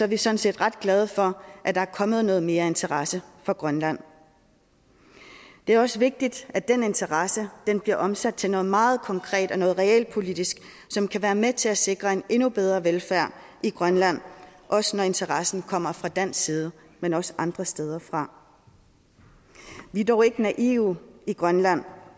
vi sådan set ret glade for at der er kommet noget mere interesse for grønland det er også vigtigt at den interesse bliver omsat til noget meget konkret og noget realpolitisk som kan være med til at sikre en endnu bedre velfærd i grønland også når interessen kommer fra dansk side men også andre steder fra vi er dog ikke naive i grønland